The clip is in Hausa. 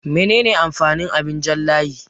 Mene ne amfanin abin jan layi?